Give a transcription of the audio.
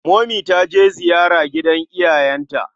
Momi ta je ziyara gidan iyayenta.